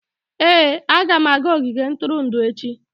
Ee, aga m aga ogige ntụrụndụ echi.